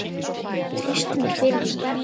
Hann treysti mér fyrir því.